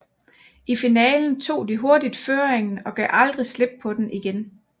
I finalen tog de hurtigt føringen og gav aldrig slip på den igen